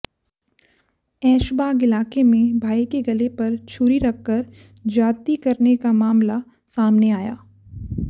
ऐशबाग इलाके में भाई के गले पर छुरी रखकर ज्यादती करने का मामला सामने आया